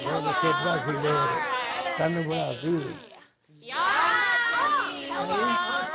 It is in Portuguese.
Agora você é brasileiro, tá no Brasil.